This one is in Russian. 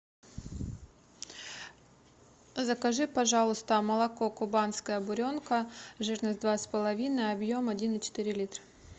закажи пожалуйста молоко кубанская буренка жирность два с половиной объем один и четыре литра